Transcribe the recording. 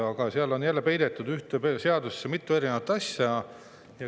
Aga jälle on ühte seadusesse peidetud mitu erinevat asja.